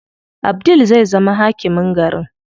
Abdul zai zama hakimin garin.